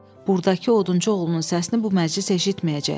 buradakı odunçu oğlunun səsini bu məclis eşitməyəcək.